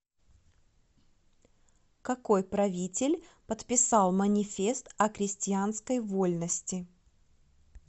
какой правитель подписал манифест о крестьянской вольности